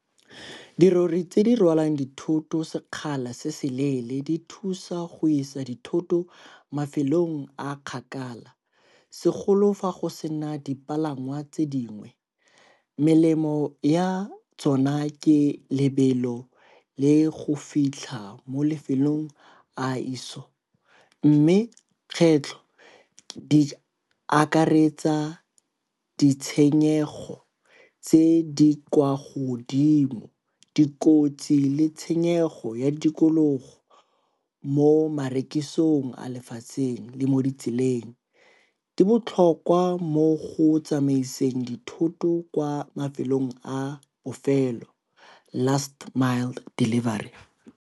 Dirori tse di rwalang dithoto sekgala se se leele di thusa go isa dithoto mafelong a a kgakala, segolo fa go sena dipalangwa tse dingwe. Melemo ya tsona ke lebelo le go fitlha mo lefelong a mme kgwetlho di akaretsa ditshenyego tse di kwa godimo, dikotsi le tshenyego ya tikologo mo marekisong a lefatsheng le mo ditseleng. Di botlhokwa mo go tsamaiseng dithoto kwa mafelong a bofelo Last Mile Delivery.